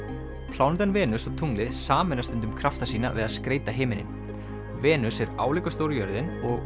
plánetan Venus og tunglið sameina stundum krafta sína við að skreyta himininn Venus er álíka stór og jörðin